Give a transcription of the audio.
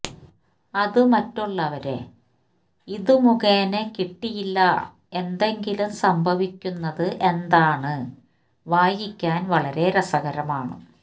അതു മറ്റുള്ളവരെ ഈ ഇതുമുഖേന കിട്ടിയില്ല എന്തെങ്കിലും സംഭവിക്കുന്നത് എന്താണ് വായിക്കാൻ വളരെ രസകരമാണ്